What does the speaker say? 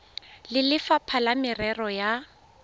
le lefapha la merero ya